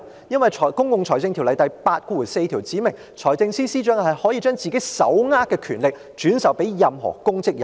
因為《公共財政條例》第84條訂明財政司司長可將自己手握的權力進一步轉授任何公職人員。